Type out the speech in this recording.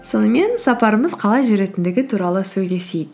сонымен сапарымыз қалай жүретіндігі туралы сөйлесейік